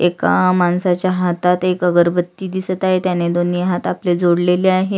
एका माणसाच्या हातात एक अगरबती दिसत आहेतत्यांनी दोनी हात आपले जोडलेले आहेत.